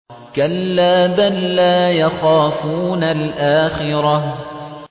كَلَّا ۖ بَل لَّا يَخَافُونَ الْآخِرَةَ